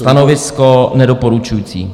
Stanovisko nedoporučující.